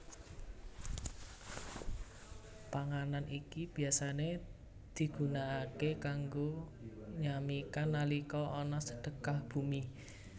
Panganan iki biasané digunakaké kanggo nyamikan nalika ana Sedekah Bumi